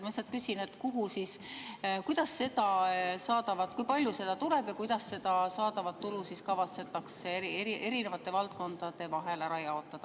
Ma lihtsalt küsin, kui palju seda tuleb ja kuidas see saadav tulu kavatsetakse erinevate valdkondade vahel ära jaotada.